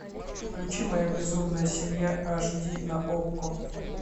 включи моя безумная семья аш ди на окко